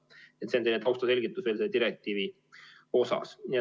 Nii et see on selline taustaselgitus selle direktiivi kohta.